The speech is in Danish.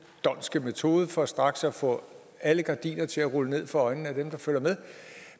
dhondtske metode for straks at få alle gardiner til at rulle ned for øjnene